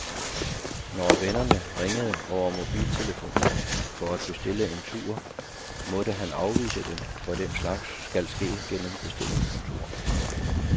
Når vennerne ringede over mobiltelefonen for at bestille en tur, måtte han afvise dem, for den slags skal ske gennem bestillingskontoret.